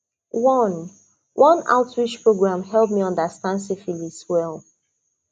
one one outreach program help me understand syphilis well